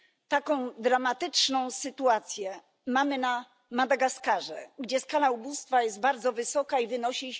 Taką dramatyczną sytuację mamy na Madagaskarze, gdzie skala ubóstwa jest bardzo wysoka i wynosi